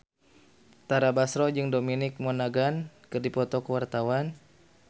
Tara Basro jeung Dominic Monaghan keur dipoto ku wartawan